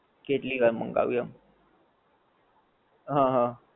કેટલી વાર મંગાવ્યું એમ. હં હં.